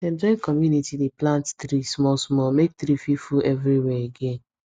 dem join community dey plant tree small small make tree fit full everywhere again